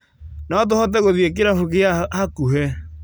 No tũhote gũthie kĩrabu gĩa hakuhĩ